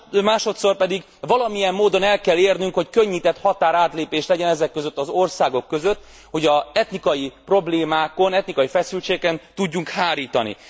Másodszor pedig valamilyen módon el kell érnünk, hogy könnyített határátlépés legyen ezek között az országok között, hogy az etnikai problémákon, etnikai feszültségeken tudjunk hárítani.